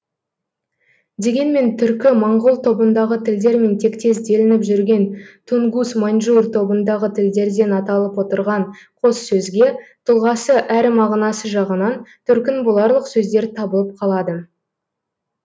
дегенмен түркі моңғол тобындағы тілдермен тектес делініп жүрген тунгус маньчжур тобындағы тілдерден аталып отырған қос сөзге тұлғасы әрі мағынасы жағынан төркін боларлық сөздер табылып қалады